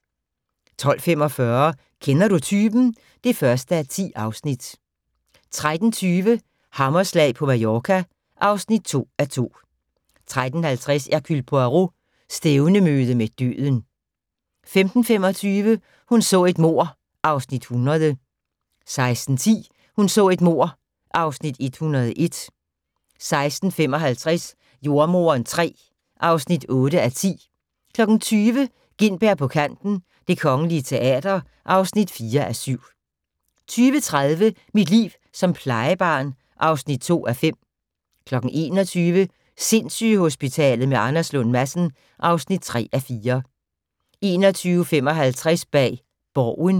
12:45: Kender du typen? (1:10) 13:20: Hammerslag på Mallorca (2:2) 13:50: Hercule Poirot: Stævnemøde med døden 15:25: Hun så et mord (Afs. 100) 16:10: Hun så et mord (Afs. 101) 16:55: Jordemoderen III (8:10) 20:00: Gintberg på Kanten - Det Kongelige Teater (4:7) 20:30: Mit liv som plejebarn (4:5) 21:00: Sindssygehospitalet med Anders Lund Madsen (3:4) 21:55: Bag Borgen